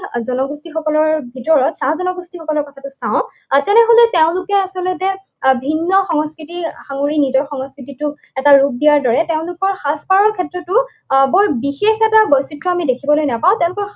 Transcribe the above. জনগোষ্ঠীসকলৰ ভিতৰত চাহ জনগোষ্ঠীসকলৰ কথাটো চাওঁ, তেনেহলে তেওঁলোকে আচলতে ভিন্ন সংস্কৃতিৰ সাঙুৰি নিজৰ সংস্কৃতিটো এটা ৰূপ দিয়াৰ দৰে তেওঁলোকৰ সাজ পাৰৰ ক্ষেত্ৰতো আহ বৰ বিশেষ এটা বৈচিত্ৰ্য আমি দেখিবলৈ নাপাওঁ। তেওঁলোকৰ